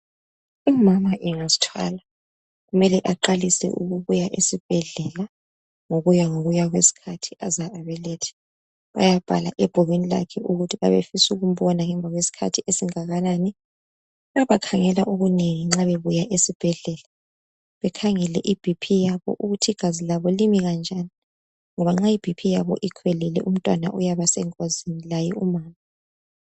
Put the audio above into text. Umama engazithwala mele aqalise ukubuya esibhedlela ngokuya ngokuya kwesikhathi aze abelethe bayabhala ebhukwini lakhe ukuthi bafisa ukumbona ngemva kwesikhathi esingakanani bakhangela okunengi nxabebuya esibhedlela bekhangele ibp yabo ukuthi igazi labo limi kanjan ngoba ibp yabo ma ikhwelile umtwana uyaba sengozini laye umama